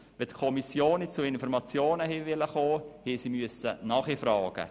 Wollten die Kommissionen zu Informationen gelangen, mussten sie nachfragen.